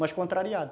Mas contrariado.